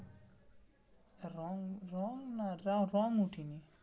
রং না র রং উঠিনি,